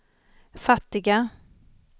fattiga